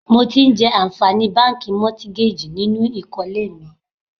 Mo ti ń jẹ àǹfààní báńkì Mọ́tígájì nínú ìkólé mi.